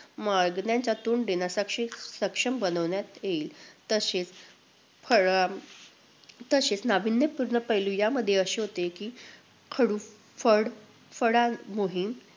मागण्यांना तोंड देण्यासाठी सक्षम बनवण्यात येईल. तसेच फळ अं तसेच नाविन्यपूर्ण पैलू या मध्ये असे होते की, खडू-फळ~ फळा मोहीम